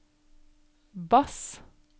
bass